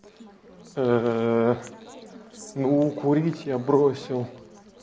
ну курить я бросил